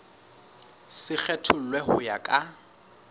se kgethollwe ho ya ka